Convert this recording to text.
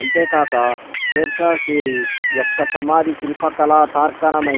అంతేకాక షేర్షా సూరీ యొక్క సమాధి శిల్పకళా తార్కాణమై